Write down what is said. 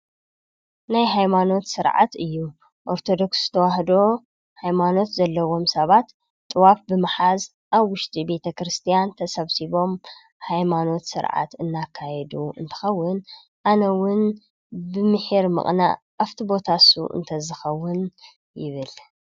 ናይ ሃይማኖት ስርዓት እዩ ።ኦርቶዶክስ ተዋህዶ ሃይማኖት ዘለዎም ሰባት ጥዋፍ ብምሓዝ ኣብ ውሽጢ ቤተ ክርስትያን ተሰብሲቦም ሃይማኖት ስርዓት እናካየዱ እንትኸውን፣ አነ እውን ብምሒር ምቅናእ ኣብቲ ቦታ ንሱ ተዝከውን ይብል።